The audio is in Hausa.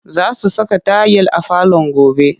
Za su saka tayil a falon gobe